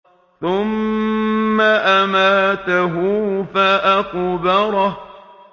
ثُمَّ أَمَاتَهُ فَأَقْبَرَهُ